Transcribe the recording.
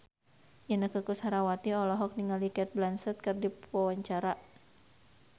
Inneke Koesherawati olohok ningali Cate Blanchett keur diwawancara